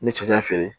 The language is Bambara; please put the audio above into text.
N ye cɛncɛn feere